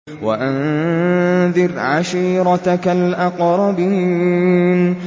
وَأَنذِرْ عَشِيرَتَكَ الْأَقْرَبِينَ